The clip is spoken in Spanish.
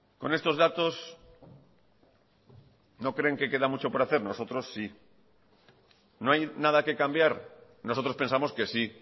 con estos datos no creen que queda mucho por hacer nosotros sí no hay nada que cambiar nosotros pensamos que sí